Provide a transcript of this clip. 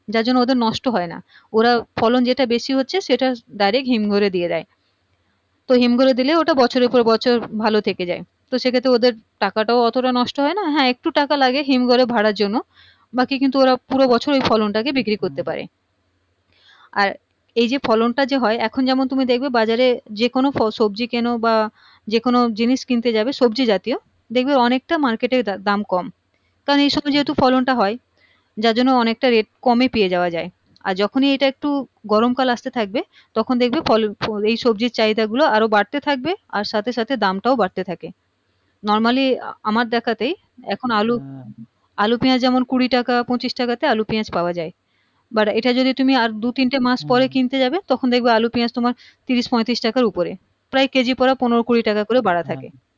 প্রায় কেজি পড়া পনেরো কুড়ি টাকা করে বাড়া থাকে হ্যাঁ